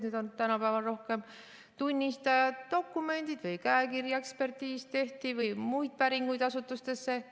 Nüüd on tänapäeval rohkem tunnistajad, dokumendid või käekirjaekspertiis tehti või muid päringuid asutustesse.